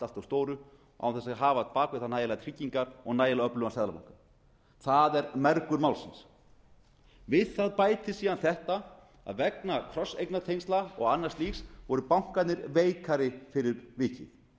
þess að hafa á bak við sig nægilegar tryggingar og nægilega öflugan seðlabanka það er mergur málsins við það bætist síðan þetta að vegna krosseignatengsla og annars slíks voru bankarnir veikari fyrir vikið og